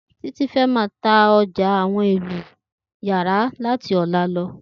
Titi fè mà tá òjá óhùn éló iyàrá làtí òlá lò